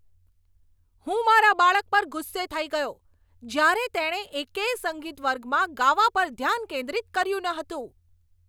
હું મારા બાળક પર ગુસ્સે થઈ ગયો જ્યારે તેણે એકેય સંગીત વર્ગમાં ગાવા પર ધ્યાન કેન્દ્રિત કર્યું ન હતું.